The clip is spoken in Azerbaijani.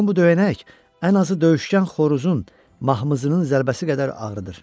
Yəqin bu döyənək ən azı döyüşkən xoruzun mahmızının zərbəsi qədər ağrıdır.